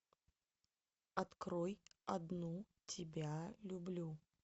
открой одну тебя люблю